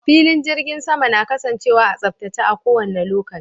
Filin jirgin sama na kasancewa a tsaftace a kowanne lokaci